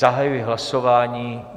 Zahajuji hlasování.